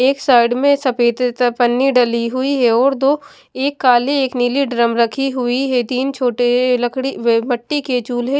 एक साइड में सफेद पन्नी डाली हुई है और दो एक काले और एक नीली ड्रम रखी हुई है तीन छोटे लकड़ी वे मट्टी के चूल्हे --